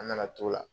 An nana t'o la